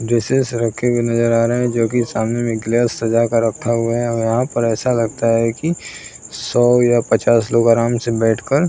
dresses रखे हुए नज़र आ रहे हैं जो कि सामने में एक गिलास सजा कर रखा हुआ है और यहाँ पर ऐसा लगता है कि सौ या पचास लोग आराम से बैठ कर --